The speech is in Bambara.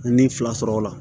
N ye n fila sɔrɔ o la